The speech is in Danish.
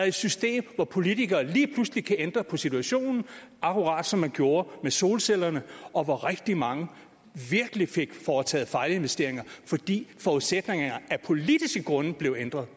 et system hvor politikere lige pludselig kan ændre på situationen akkurat som man gjorde med solcellerne og hvor rigtig mange virkelig fik foretaget fejlinvesteringer fordi forudsætningerne af politiske grunde blev ændret